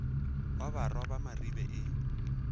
wa barwa ba maribe e